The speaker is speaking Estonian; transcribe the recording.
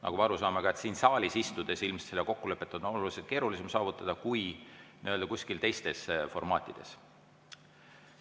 Nagu ma aru saan, ka siin saalis istudes on ilmselt seda kokkulepet oluliselt keerulisem saavutada kui kuskil teistes formaatides.